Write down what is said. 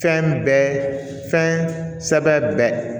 Fɛn bɛɛ fɛn sɛbɛn bɛɛ